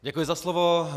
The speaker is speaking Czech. Děkuji za slovo.